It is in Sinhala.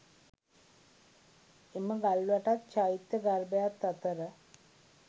එම ගල් වැටත්, චෛත්‍ය ගර්භයත් අතර